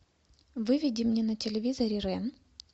выведи мне на телевизоре рен